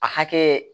A hakɛ